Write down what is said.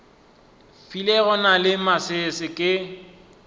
filego na le masese ke